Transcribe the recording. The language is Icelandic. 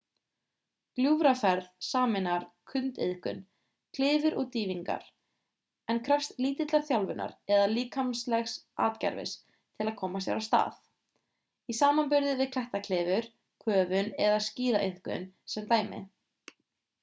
gljúfraferð sameinar sundiðkun klifur og dýfingar -- en krefst lítillar þjálfunar eða líkamlegs atgervis til að koma sér af stað í samanburði við klettaklifur köfun eða skíðaiðkun sem dæmi